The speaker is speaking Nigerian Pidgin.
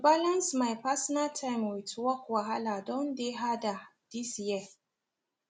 to balance my personal time with work wahala don dey harder this year